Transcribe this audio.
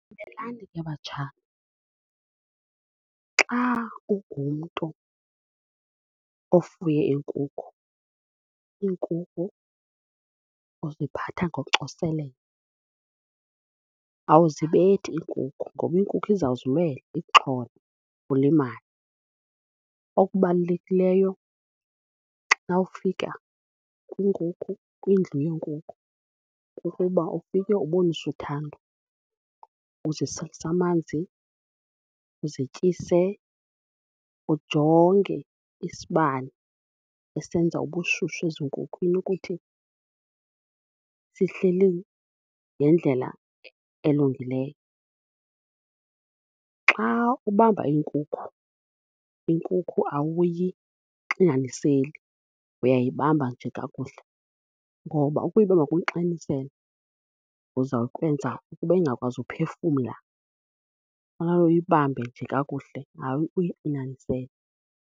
Mamelani ke batshana, xa ungumntu ofuye iinkukhu, iinkukhu uziphatha ngocoselelo awuzibethi iinkukhu ngoba iinkukhu izawuzilwela ikuxhole ulimale. Okubalulekileyo xa ufika kwiinkukhu kwindlu yenkukhu kukuba ufike ubonise uthando uziselise amanzi, uzityise ujonge isibane esenza ubushushu ezinkhukhwini ukuthi sihleli ngendlela elungileyo. Xa ubamba iinkukhu, iinkukhu awuyixinaniseli uyayibamba nje kakuhle ngoba ukuyibamba nokuxinanisela uzawukwenza ukuba ingakwazi ukuphefumla, fanele uyibambe nje kakuhle hayi uyixinanisele.